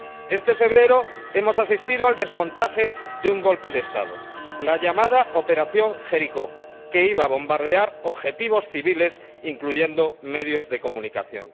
Este febrero hemos asistido al desmontaje de un golpe de Estado la llamada Operación Jericó, que iba a bombardear objetivos civiles incluyendo medios de comunicación.